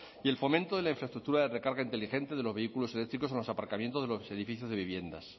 y el fomento de la infraestructura de recarga inteligente de los vehículos eléctricos en los aparcamientos de los edificios de viviendas